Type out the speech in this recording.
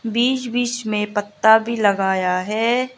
बीच बीच में पत्ता भी लगाया है।